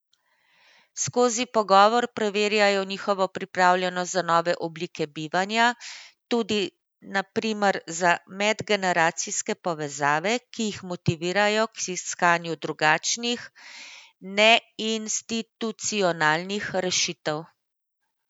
Skozi pogovor preverjajo njihovo pripravljenost za nove oblike bivanja, tudi na primer za medgeneracijske povezave, in jih motivirajo k iskanju drugačnih, neinstitucionalnih rešitev.